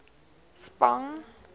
spang